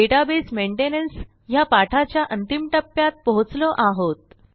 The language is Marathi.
डेटाबेस मेंटेनन्स ह्या पाठाच्या अंतिम टप्प्यात पोहोचलो आहोत